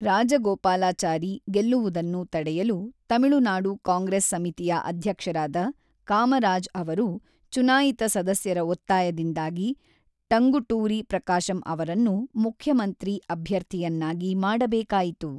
ರಾಜಗೋಪಾಲಾಚಾರಿ ಗೆಲ್ಲುವುದನ್ನು ತಡೆಯಲು, ತಮಿಳುನಾಡು ಕಾಂಗ್ರೆಸ್ ಸಮಿತಿಯ ಅಧ್ಯಕ್ಷರಾದ ಕಾಮರಾಜ್ ಅವರು, ಚುನಾಯಿತ ಸದಸ್ಯರ ಒತ್ತಾಯದಿಂದಾಗಿ, ಟಂಗುಟೂರಿ ಪ್ರಕಾಶಂ ಅವರನ್ನು ಮುಖ್ಯಮಂತ್ರಿ ಅಭ್ಯರ್ಥಿಯನ್ನಾಗಿ ಮಾಡಬೇಕಾಯಿತು.